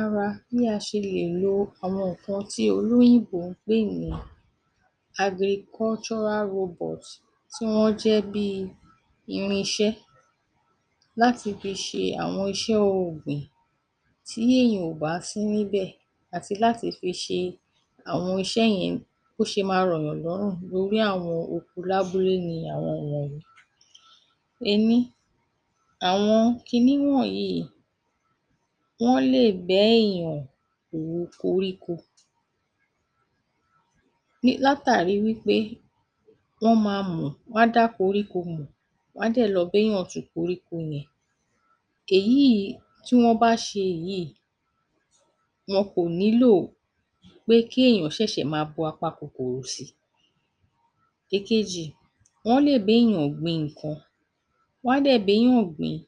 Ara bí a ṣe lè lo àwọn nǹkan olóyìnbó ń pè ní agrikọ́ṣọ́rá rọbọ̀t tí wọ́n jẹ́ bíi irinṣẹ́ láti fi ṣe àwọn iṣẹ́ ohun ọọ̀gbìn tí èèyàn ò bá sí níbẹ̀ àti láti fi ṣe àwọn iṣẹ́ yẹn bó ṣe máa rọ̀yàn lọ́rùn lorí àwọn oko lábúlé ni àwọn wọ̀nyí: Ení: àwọn kinní wọ̀ọ̀nyìí wọ́n lè bẹ́èyàn ru koríko ni látàrí wí pé wọ́n ma mọ̀, wọ́n á dá koríko mọ̀, wọ́n á dẹ̀ lọ bá èèyàn tu koríko yẹn. Eyìíí tí wọ́n bá ṣe èyí, wọn kò nílò pé kí èèyàn ṣẹ̀ṣẹ̀ ma bu apakòkòrò si. Ìkejì: Wọ́n lè béèyàn gbin nǹkan. Wọ́n á dẹ̀ béyàn gbìn ín,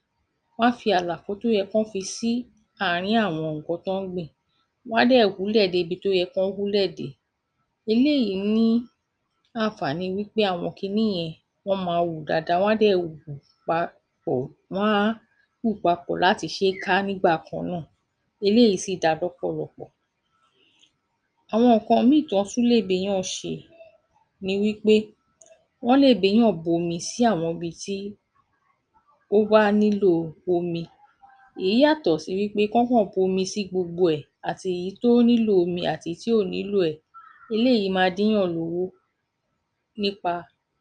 wọ́n á fi àlàfo tó yẹ kán fi si àárín àwọn nǹkan tán ń gbìn. Wọ́n á dẹ̀ wúlẹ̀ débi tó yẹ kán wúlẹ̀ dé. Eléyìí ní ànfààní wí pé àwọn kinní yẹn wọ́n máa wù dáadáa wọ́n á dẹ̀ wù pa...pọ̀, wọ́n á wù papọ̀ láti ṣee ká nígbà kan náà. Eléìí sì da lọ́pọ̀lọpọ̀. Àwọn nǹkan mìíìn tán án tún lè béyàn ṣe ni wí pé wọ́n lè béyàn bomi sí àwọn ibi tí ó bwá nílò omi. Èyí yàtò sí wí pé kánkàn bomi sí gbogbo ẹ̀ – àtèyí tó nílò omi àtèyí tí ò nílò ẹ̀. Eléyìí máa dínyàn lówó ní pa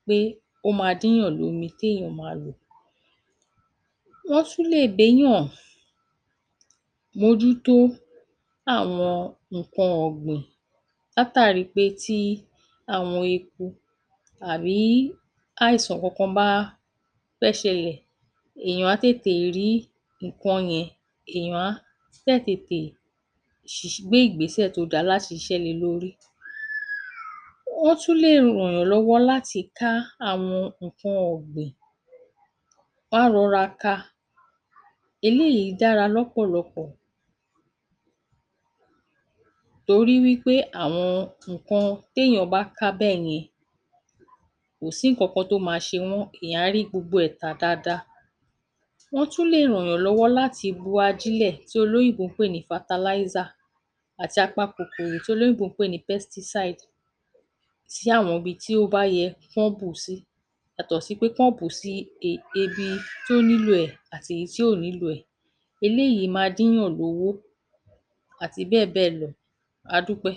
pé ó ma dínyàn lómi téèyàn máa lò. Wọ́n tún lè béyàn mójútó àwọn nǹkan ọ̀gbìn látàrí pé tí àwọn eku àbí àìsàn kankan bá fẹ́ ṣẹlẹ̀, èèyàn á tètè rí nǹkan yẹn, èèyàn á dẹ̀ tètè ṣíṣ....gbé ìgbésẹ̀ tó da láti ṣiṣẹ́ le lórí. Wọ́n tún lè rànyàn lọ́wọ́ láti ká àwọn nǹkan ọ̀ọ̀gbìn. Wọ́n á rọra ka. Eléìí dára lọ́pọ̀lọpọ̀ torí wí pé àwọn nǹkan téèyàn bá ká bẹ́yen kò sí nǹkan tó ma ṣe wọ́n, èèyàn á rí gbogbo ẹ̀ tà dáadáa. Wọ́n tún lè rànyàn lọ́wọ́ láti bu ajílẹ̀ tí olóyìnbó ń pè ní fataláísà àti apakòkòrò tí olóyìnbó ń pè ní pẹ́stísáìd sí àwọn ibi tí ó bá yẹ kí wọ́n bù ú sí yàtọ̀ sí pé kán bù ú sí um ibi tí ó nílò ẹ̀ àti èyí tí ò nílò ẹ̀. Eléyìí ma dínyàn lówó àti bẹ́ẹ̀ bẹ́ẹ̀ lọ. A dúpẹ́.